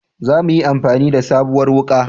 Za muyi amfani da sabuwar wuka